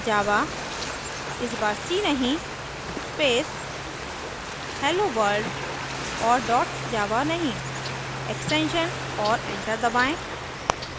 java इस बार c नहीं space helloworld और dot java नहीं extension और enter दबाएँ